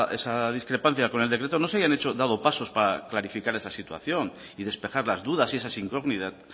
esa discrepancia con el decreto no se habían dado pasos para clarificar esa situación y despejar las dudas y esas incógnitas